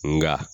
Nga